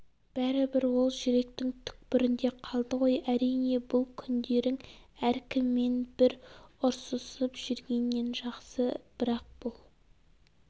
бәрібір ол жүректің түкпірінде қалды ғой әрине бұл күндерің әркіммен бір ұрсысып жүргеннен жақсы бірақ бұл